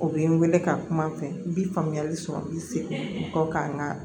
O bɛ n wele ka kuma n fɛ n bi faamuyali sɔrɔ n bɛ segin n kɔ kan n ka